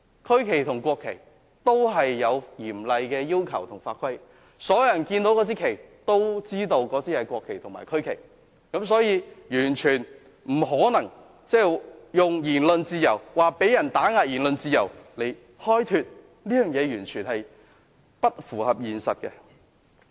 區旗和國旗都有嚴厲的要求和法規，所有人看到那面旗都知道是國旗和區旗，所以完全不可能以言論自由被打壓來開脫，這是完全不符合現實的。